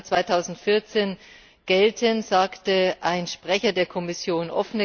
1. Januar 2014 gelten, sagte ein Sprecher der Kommission.